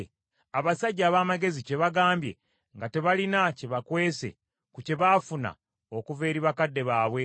abasajja ab’amagezi kye bagambye nga tebalina kye bakwese ku kye baafuna okuva eri bakadde baabwe